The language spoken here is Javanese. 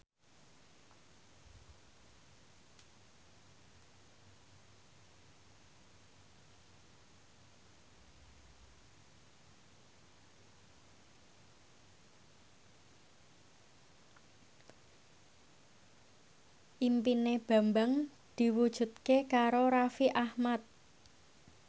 impine Bambang diwujudke karo Raffi Ahmad